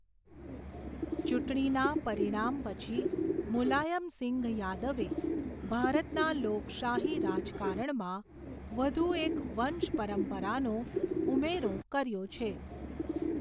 ચૂંટણીનાં પરિણામ પછી મુલાયમસિંઘ યાદવે, ભારતના લોકશાહી રાજકારણમાં, વઘુ એક વંશપરંપરાનો ઉમેરો કયોઁ છે.